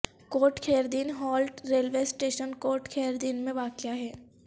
کوٹ Khair Din halt railway station Kot Khair Din میں واقع ہے